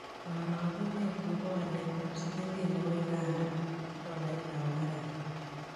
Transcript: Karogunet ne po waletap silingit ne po uganda ak tolaitap amerika